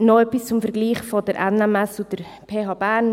Noch etwas zum Vergleich der NMS und der PH Bern;